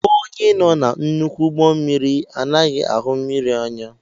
Onye nọ na nnukwu ụgbọ mmiri anaghị ahụ mmiri anya